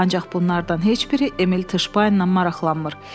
Ancaq bunlardan heç biri Emil Tışbayenlə maraqlanmır.